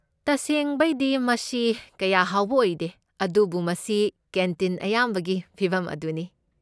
ꯇꯁꯦꯡꯕꯩꯗꯤ ꯃꯁꯤ ꯀꯌꯥ ꯍꯥꯎꯕ ꯑꯣꯏꯗꯦ, ꯑꯗꯨꯕꯨ ꯃꯁꯤ ꯀꯦꯟꯇꯤꯟ ꯑꯌꯥꯝꯕꯒꯤ ꯐꯤꯕꯝ ꯑꯗꯨꯅꯤ꯫